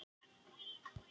Og það var rétt hjá þér.